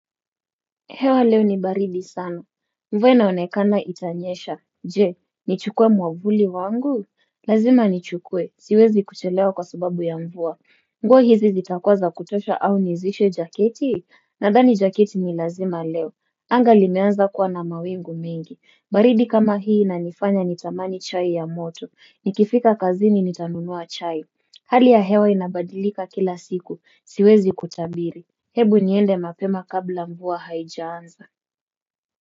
Hewa leo ni baridi sana, mvua inaonekana itanyesha, je, nichukuwe mwavuli wangu? Lazima nichukue, siwezi kuchelewa kwa subabu ya mvua, nguo hizi zitakuwa za kutosha au nizishe jaketi? Na ndani jaketi ni lazima leo, anga limeanza kuwa na mawingu mengi, baridi kama hii inifanya nitamani chai ya moto, nikifika kazini nitanunua chai. Hali ya hewa inabadilika kila siku siwezi kutabiri. Hebu niende mapema kabla mvua haijaanza.